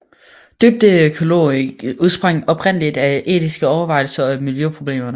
Dybdeøkologien udsprang oprindeligt af etiske overvejelser over miljøproblemerne